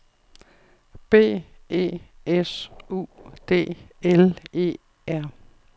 B E S U D L E R